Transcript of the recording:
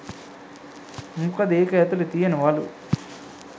මොකද ඒක ඇතුලෙ තියනවලු